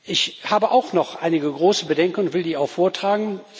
Ich habe auch noch einige große Bedenken, und ich will die auch vortragen.